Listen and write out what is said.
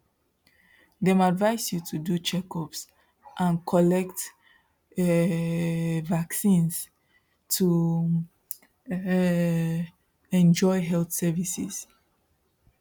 dem advise you to do checkups and collect um vaccines to um enjoy health services